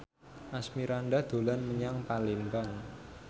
Asmirandah dolan menyang Palembang